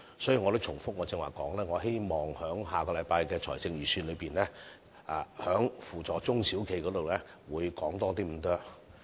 所以，正如我剛才所說，希望下星期的財政預算案在扶助中小企方面會多着墨一點。